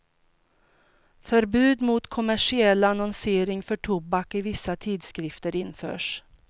Förbud mot kommersiell annonsering för tobak i vissa tidskrifter införs.